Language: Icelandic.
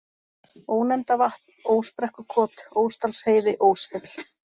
Ónefndavatn, Ósbrekkukot, Ósdalsheiði, Ósfjöll